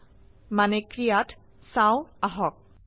সংৰক্ষণ কৰক আৰু ৰান কৰক